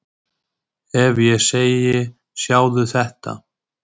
Ef ég segi Sjáðu þetta!